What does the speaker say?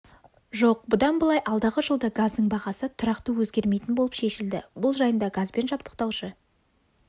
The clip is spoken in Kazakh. жоқ бұдан былай алдағы жылда газдың бағасы тұрақты өзгермейтін болып шешілді бұл жайында газбен жабдықтаушы